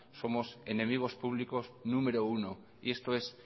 somos enemigos públicos número uno y esto es